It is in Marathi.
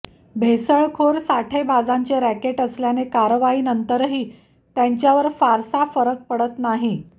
भेसळखोर साठेबाजांचे रॅकेट असल्याने कारवाईनंतरही त्यांच्यावर फारसा फरक पडत नाही